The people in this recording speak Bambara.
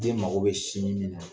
Den mago bɛ sin min na